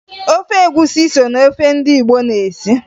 Ofe egwusi so na ofe ndị Igbo na-esi